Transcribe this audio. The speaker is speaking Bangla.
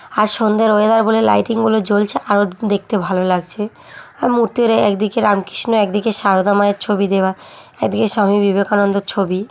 আর সন্ধ্যের ওয়েদার বলে লাইটিং বলে জ্বলছে আরো দেখতে ভালো লাগছে মূর্তির একদিকে রামকৃষ্ণ একদিকে সারদা মায়ের ছবি দেওয়া এদিকে স্বামী বিবেকানন্দের ছবি ।